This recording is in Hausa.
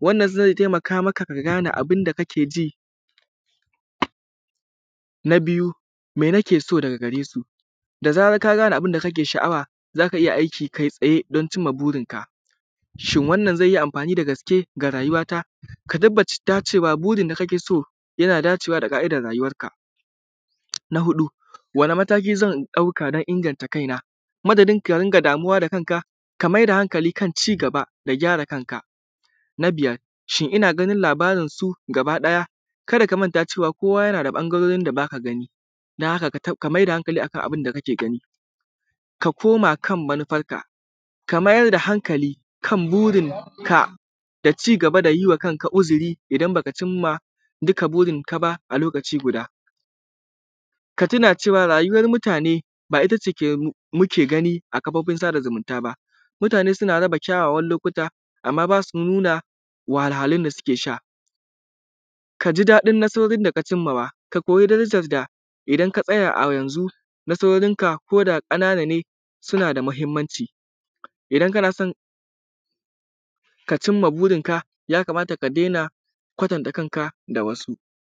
Wannan ze taimaka maka ka gane abun da kake ji, na biyu me nake so daga gare su? Da zaran ka gane abun da kake sha’awa za ka iya aiki kai tsaya domin cinma burinka. Shin wannna ze yi amfani da gaske ga rayuwarka? Ka tabbace da cewa burin da kake so yana dacewa daga idon da rayuwarka. Na huɗu wani mataki zan ɗauka don inganta kaina kuma ka dina damuwa da kanka? Ka mai da hankali kan ci gaba da gyara kanka, na biyar shin kana ganin labarinsu gabakiɗaya? Ka da ka manta cewa kowa yana da ɓagarorin da ba ka gani dan haka, ka mai da hankali a kan abun da kake gani, ka koma kan manufarka, ka mai da hankali kan burinka da ci gaba, da yi wa kanka uziri. Idan ba ka cin ma kanka duka burinka ba a lokaci guda, ka tuna cewa rayuwar muatane ba ita ce muke gani a gabanka zumunta ba, mutane suna raba kyawawan lokuta amma ba su nuna wahalhalun da suke sha. Ka ji daɗin na burin da kacinmawa, ka koyi darajan da idan ka tsaya a yanzu na saurinka koda na ƙanane suna da mahinmanci, idan kana son ka cin ma burinka ya kamata ka dena kwatantanka da wasu.